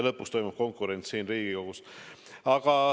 Lõpuks toimub konkurents siin Riigikogus.